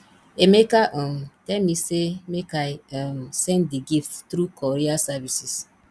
emeka um tell me say make i um send the gift through courier services